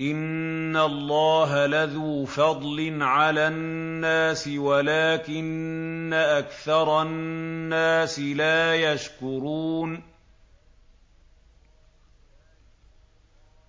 إِنَّ اللَّهَ لَذُو فَضْلٍ عَلَى النَّاسِ وَلَٰكِنَّ أَكْثَرَ النَّاسِ لَا يَشْكُرُونَ